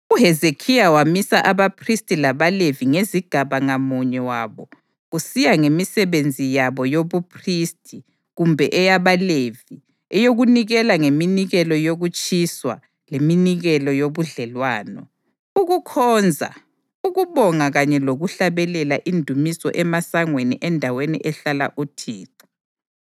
UHezekhiya wamisa abaphristi labaLevi ngezigaba ngamunye wabo kusiya ngemisebenzi yabo yobuphristi kumbe eyabaLevi eyokunikela ngeminikelo yokutshiswa leminikelo yobudlelwano, ukukhonza, ukubonga kanye lokuhlabelela indumiso emasangweni endaweni ehlala uThixo.